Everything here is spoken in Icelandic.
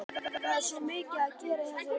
Það er svo mikið að gera í þessari vinnu hennar.